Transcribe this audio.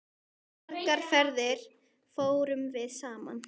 Margar ferðir fórum við saman.